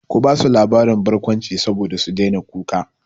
Ki basu labarin barkwanci saboda su daina kuka!